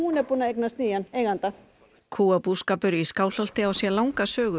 er búin að eignast nýjan eiganda kúabúskapur í Skálholti á sér langa sögu